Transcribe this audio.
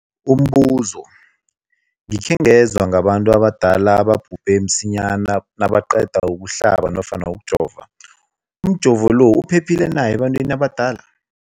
Umbuzo, gikhe ngezwa ngabantu abadala ababhubhe msinyana nabaqeda ukuhlaba nofana ukujova. Umjovo lo uphephile na ebantwini abadala?